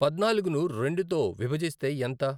పద్నాలుగును రెండుతో విభజిస్తే ఎంత?